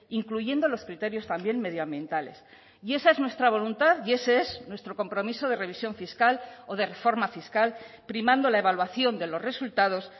incluyendo los criterios también medioambientales y esa es nuestra voluntad y ese es nuestro compromiso de revisión fiscal o de reforma fiscal primando la evaluación de los resultados